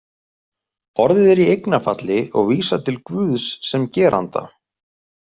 Orðið er í eignarfalli og vísar til Guðs sem geranda.